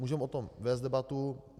Můžeme o tom vést debatu.